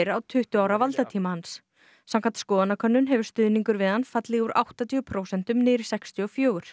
á tuttugu ára valdatíma hans samkvæmt skoðanakönnun hefur stuðningur við hann fallið úr áttatíu prósentum niður í sextíu og fjögur